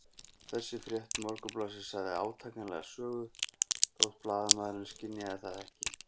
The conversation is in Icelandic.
Þessi frétt Morgunblaðsins sagði átakanlega sögu, þótt blaðamaðurinn skynjaði það ekki.